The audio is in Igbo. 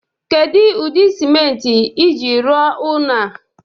Kedu ụdị simenti iji rụọ ụnọ a?